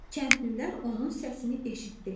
Kəndlilər onun səsini eşitdilər.